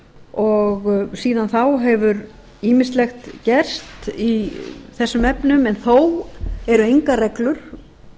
og síðan þá hefur ýmislegt gerst í þessum efnum en þó eru engar reglur